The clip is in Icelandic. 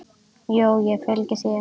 Jú, ég fylgi þér.